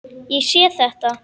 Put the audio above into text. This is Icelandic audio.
Ég sé þetta.